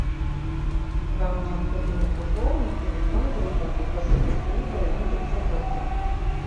вам необходимо пополнить телефон друга укажите семь вариантов запросов